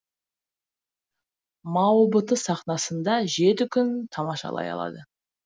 маобт сахнасында жеті күн тамашалай алады